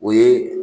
O ye